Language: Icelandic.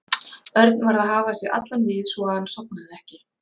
Örn varð að hafa sig allan við svo að hann sofnaði ekki.